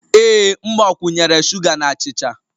Ee m gbakwunyere sugar na achịcha.